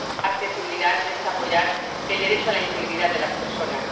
accesibilidad es apoyar el derecho a la integridad de las personas